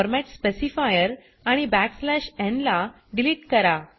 format specifier आणि backslash न् ला डिलीट करा